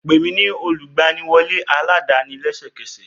Pè mí ní olùgbaniwọlé aládàáni lẹ́sẹ̀kẹsẹ̀!